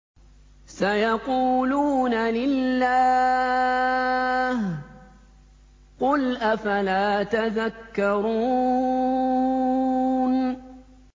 سَيَقُولُونَ لِلَّهِ ۚ قُلْ أَفَلَا تَذَكَّرُونَ